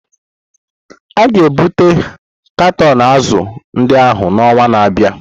A ga-ebute katọn azụ̀ ndị ahụ n'ọnwa na-abịa.